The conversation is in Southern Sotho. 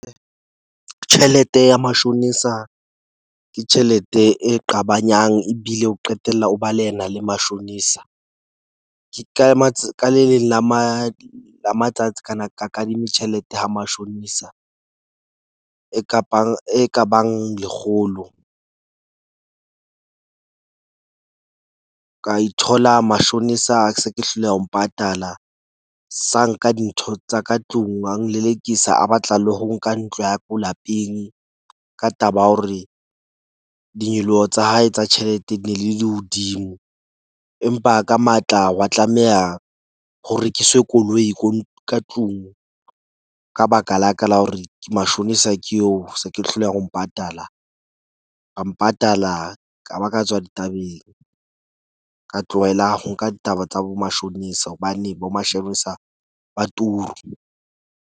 Tjhelete ya mashonisa ke tjhelete e qabanyang ebile o qetella o ba le yena le mashonisa. Ke ka ka le leng la matsatsi kana ka kadime tjhelete ha mashonisa, e kabang e kabang lekgolo ka ithola mashonisa ke se ke hloleha ho mpatala sa nka dintho tsa ka tlung. A nlelekisa a batla le ho nka ntlo ya ko lapeng. Ka taba ya hore dinyoloho tsa hae, tsa tjhelete ne le le hodimo. Empa ka matla, wa tlameha ho rekiswe koloi ko ka tlung ka baka la ka la hore mashonisa ke eo ke se ke hloleha ho mpatala. Ka mpatala ka ba ka tswa ditabeng, ka tlohela ho nka ditaba tsa bo mashonisa, hobane bo mashonisa ba turu.